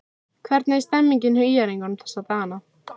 Hvernig er stemningin hjá ÍR-ingum þessa dagana?